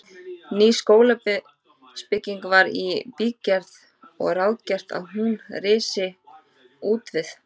Ný skólabygging var í bígerð og ráðgert að hún risi útvið